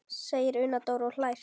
segir Una Dóra og hlær.